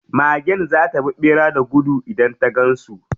Magen za ta bi ɓera da gudu idan ta gan su.